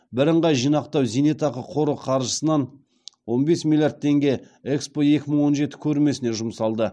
бірынғай зейнетақы жинақтау қоры қаржысынан он бес миллиард теңге экспо екі мың он жеті көрмесіне жұмсалды